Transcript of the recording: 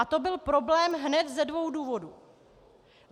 A to byl problém hned ze dvou důvodů.